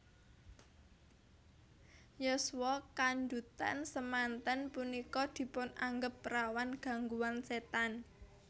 Yuswa kandhutan semanten punika dipun anggep rawan gangguan setan